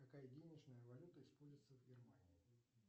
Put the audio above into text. какая денежная валюта используется в германии